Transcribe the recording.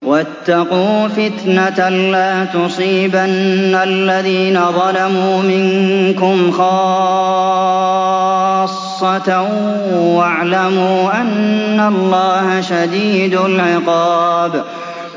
وَاتَّقُوا فِتْنَةً لَّا تُصِيبَنَّ الَّذِينَ ظَلَمُوا مِنكُمْ خَاصَّةً ۖ وَاعْلَمُوا أَنَّ اللَّهَ شَدِيدُ الْعِقَابِ